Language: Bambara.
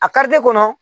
A kari kɔnɔ